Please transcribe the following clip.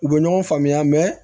U bɛ ɲɔgɔn faamuya